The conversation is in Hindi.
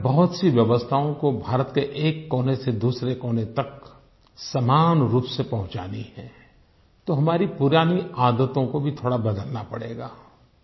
हमें बहुत सी व्यवस्थाओं को भारत के एक कोने से दूसरे कोने तक समान रूप से पहुँचाना है तो हमारी पुरानी आदतों को भी थोड़ा बदलना पड़ेगा